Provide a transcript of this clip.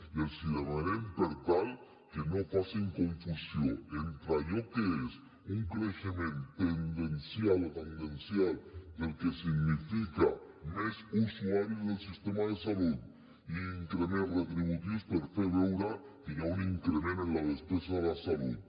i els demanem per tant que no facin confusió entre allò que és un creixement tendencial del que significa més usuaris del sistema de salut increments retributius per fer veure que hi ha un increment en la despesa de la salut